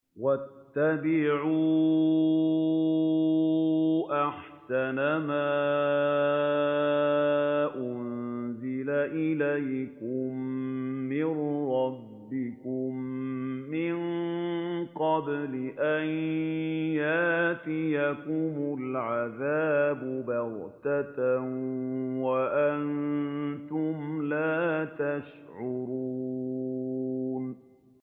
وَاتَّبِعُوا أَحْسَنَ مَا أُنزِلَ إِلَيْكُم مِّن رَّبِّكُم مِّن قَبْلِ أَن يَأْتِيَكُمُ الْعَذَابُ بَغْتَةً وَأَنتُمْ لَا تَشْعُرُونَ